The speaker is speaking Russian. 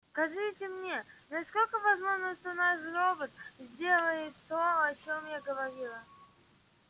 скажите мне насколько возможно что наш робот сделает то о чем я говорила